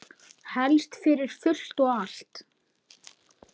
Helst fyrir fullt og allt.